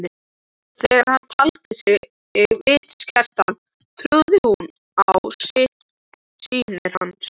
Þegar hann taldi sig vitskertan trúði hún á sýnir hans.